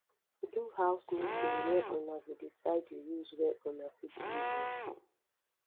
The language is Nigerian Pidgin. do house meeting where una go decide di rules wey una fit live with